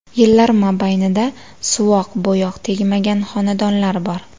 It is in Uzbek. Yillar mobaynida suvoq-bo‘yoq tegmagan xonadonlar bor.